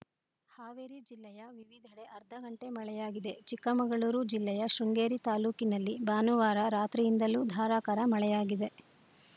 ಹಾವೇರಿ ಜಿಲ್ಲೆಯ ವಿವಿಧೆಡೆ ಅರ್ಧ ಗಂಟೆ ಮಳೆಯಾಗಿದೆ ಚಿಕ್ಕಮಗಳೂರು ಜಿಲ್ಲೆಯ ಶೃಂಗೇರಿ ತಾಲೂಕಿನಲ್ಲಿ ಭಾನುವಾರ ರಾತ್ರಿಯಿಂದಲೂ ಧಾರಾಕಾರ ಮಳೆಯಾಗಿದೆ